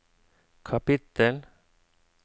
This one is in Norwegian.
kapittel